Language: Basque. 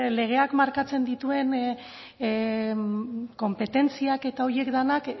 legeak markatzen dituen konpetentziak eta horiek denak